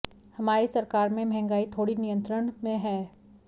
हमारी सरकार में महंगाई थोड़ी नियंत्रण में है